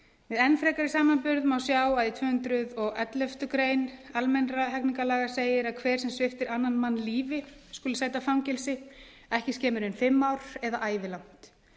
við enn frekari samanburð má sjá að í tvö hundruð og elleftu grein almennra hegningarlaga segir að hver sem sviptir annan mann lífi skuli sæta fangelsi ekki skemur en fimm ár eða ævilangt